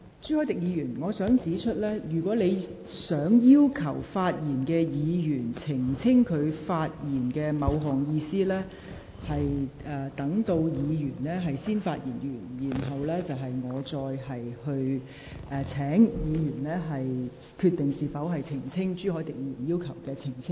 朱凱廸議員，我想指出，如果你要求正在發言的議員澄清其發言某部分內容的意思，你須待該議員發言完畢後，再由我請有關議員決定是否因應你的要求作出澄清。